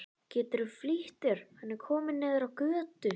Geturðu flýtt þér. hann er kominn niður á götu!